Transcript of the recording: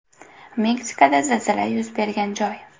Meksikada zilzila yuz bergan joy.